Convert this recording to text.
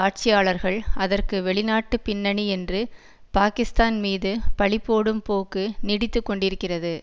ஆட்சியாளர்கள் அதற்கு வெளிநாட்டு பின்னணி என்று பாகிஸ்தான் மீது பழிபோடும் போக்கு நீடித்து கொண்டிருக்கிறது